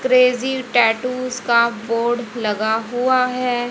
Crazy tattoos का board लगा हुआ है।